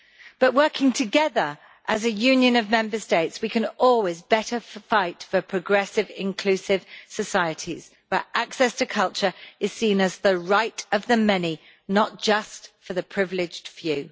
But working together as a union of Member States, we can always better fight for progressive, inclusive societies where access to culture is seen as the right of the many, not just for the privileged few.